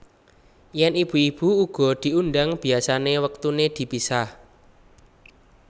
Yèn ibu ibu uga diundhang biasané wektuné dipisah